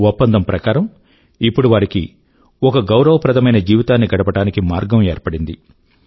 ఒప్పందం ప్రకారం ఇప్పుడు వారికి ఒక గౌరవప్రదమైన జీవితాన్ని గడపడానికి మార్గం ఏర్పడింది